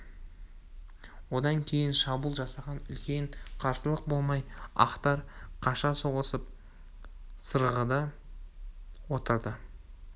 одан кейін шабуыл жасаған үлкен қарсылық болмай ақтар қаша соғысып сырғыды да отырды